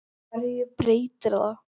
HVERJU BREYTIR ÞAÐ?